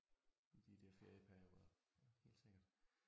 I de der ferieperioder helt sikkert